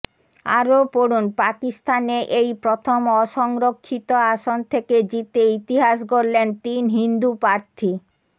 আরও পড়ুন পাকিস্তানে এই প্রথম অসংরক্ষিত আসন থেকে জিতে ইতিহাস গড়লেন তিন হিন্দু প্রার্থী